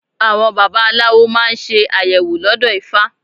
Àwọn baba aláwo máa ń ṣe àyẹ̀wò lọ́dọ̀ ifá.